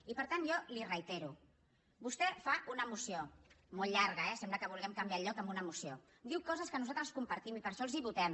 i per tant jo li reitero vostè fa una moció molt llarga eh sembla que vulguem canviar el lloc amb una moció diu coses que nosaltres compartim i per això els ho votem